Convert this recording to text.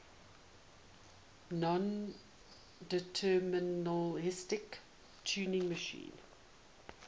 nondeterministic turing machine